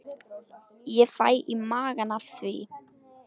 Ég fæ í magann af því.